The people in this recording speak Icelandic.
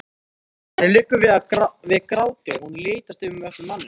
Henni liggur við gráti og hún litast um eftir manninum.